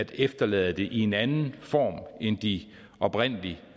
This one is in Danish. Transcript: efterlade det i en anden form end de oprindelig